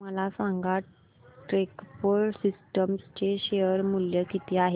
मला सांगा TechPro systems चे शेअर मूल्य किती आहे